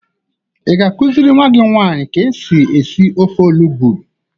Ị ga-akụziri nwa gị nwanyị ka esi esi ofe olugbu?